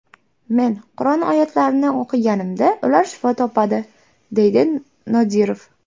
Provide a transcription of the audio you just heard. Men Qur’on oyatlarini o‘qiganimda ular shifo topadi”, deydi Nodirov.